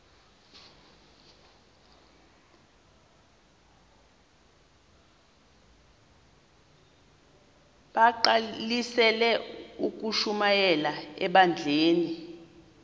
bagqalisele ukushumayela ebandleni